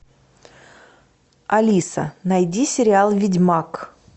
алиса найди сериал ведьмак